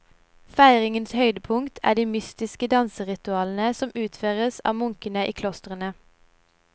Feiringens høydepunkt er de mystiske danseritualene som utføres av munkene i klostrene.